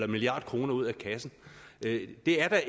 milliard kroner ud af kassen det er da